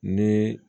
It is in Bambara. Ni